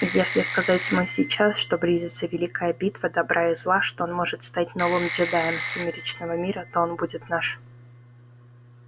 и если сказать ему сейчас что близится великая битва добра и зла что он может стать новым джедаем сумеречного мира то он будет наш